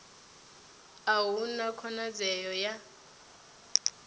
a hu na khonadzeo ya